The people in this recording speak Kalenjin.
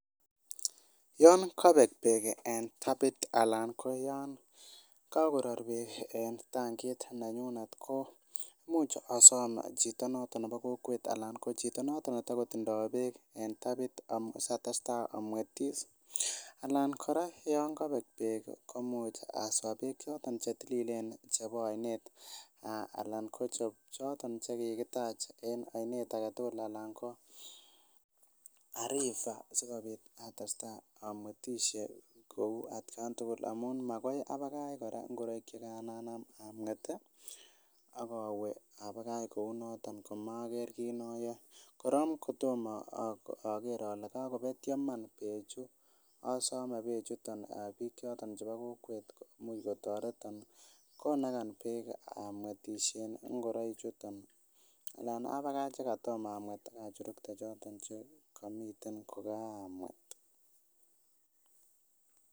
Yon kobek beek en tapit anan ko yon kakoror beek en tankit nanyunet komuch asom chito noton nebo kokwet alan ko chito noton netokotindoo beek en tapit satestaa amwetis alan kora yon kobek beek komuch kora aswa beek chetililen chebo oinet anan ko choton chekikitach en oinet aketugul anan ko a river sikobit atestaa amwetisye kou atkan tugul amun makai abakach kora ngoroik chekaan anam amwet ih ak owe abakach kou noton komoker kit noyoe korong kotomo oker ole kakobetyo iman bechu asome beek chuton biik choton chebo kokwet much kotoreton konagan beek amwetisyen ngoroik chuton anan abakach chekatom amwet ak achurukte choton chekomiten kokaamwet